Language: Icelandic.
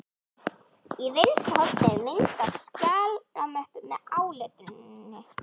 Í vinstra horni er mynd af skjalamöppu með áletruninni